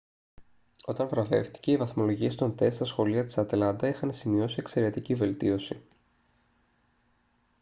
όταν βραβεύτηκε οι βαθμολογίες των τεστ στα σχολεία της ατλάντα είχαν σημειώσει εξαιρετική βελτίωση